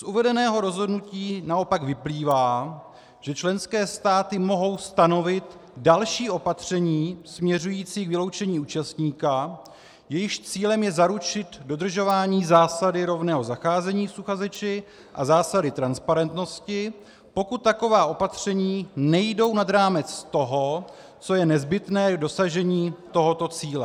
Z uvedeného rozhodnutí naopak vyplývá, že členské státy mohou stanovit další opatření směřující k vyloučení účastníka, jejichž cílem je zaručit dodržování zásady rovného zacházení s uchazeči a zásady transparentnosti, pokud taková opatření nejdou nad rámec toho, co je nezbytné k dosažení tohoto cíle.